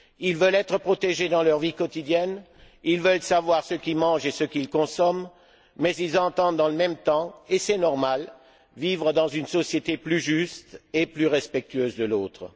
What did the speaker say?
Ils veulent être protégés dans leur vie quotidienne, ils veulent savoir ce qu'ils mangent et ce qu'ils consomment, mais ils entendent, dans le même temps et c'est normal vivre dans une société plus juste et plus respectueuse de l'autre.